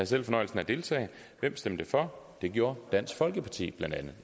selv fornøjelsen af at deltage og hvem stemte for det gjorde dansk folkeparti blandt andet